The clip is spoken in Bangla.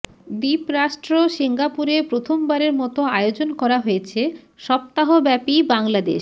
দ্বীপরাষ্ট্র সিঙ্গাপুরে প্রথমবারের মতো আয়োজন করা হয়েছে সপ্তাহব্যাপী বাংলাদেশ